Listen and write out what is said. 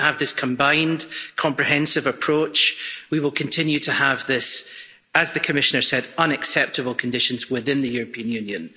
If we don't have this combined comprehensive approach, we will continue to have these as the Commissioner said unacceptable conditions within the European Union.